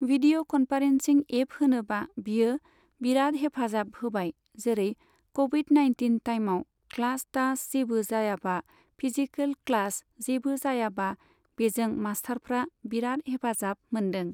Video conferencing app होनोबा बियो बिराद हेफाजाब होबाय जेरै क'विड नाइनटिन टाइमाव क्लास थास जेबो जायाबा फिजिकेल क्लास जेबो जायाबा बेजों मासथारफ्रा बिराद हेफाजाब मोनदों।